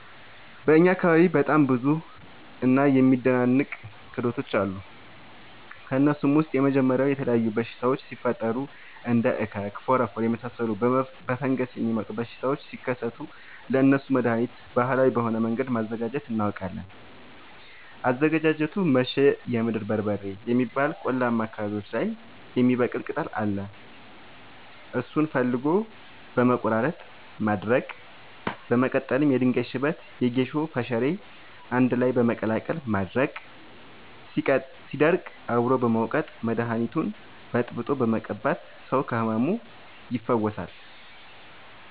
በእኛ አካባቢ በጣም ብዙ እና የሚደናንቅ ክህሎቶች አሉ። ከእነሱም ውስጥ የመጀመሪያው የተለያዩ በሽታወች ሲፈጠሪ እንደ እከክ ፎረፎር የመሳሰሉ በፈንገስ የሚመጡ በሽታዎች ሲከሰቱ ለእነሱ መደሀኒት ባህላዊ በሆነ መንገድ ማዘጋጀት እናውቃለን። አዘገጃጀቱመሸ የምድር በርበሬ የሚባል ቆላማ አካባቢዎች ላይ የሚበቅል ቅጠል አለ እሱን ፈልጎ በመቀለረጥ ማድረቅ በመቀጠልም የድንጋይ ሽበት የጌሾ ፈሸሬ አንድላይ በመቀላቀል ማድረቅ ሲደርቅ አብሮ በመውቀጥ መደኒቱን በጥብጦ በመቀባት ሰው ከህመሙ ይፈወሳል።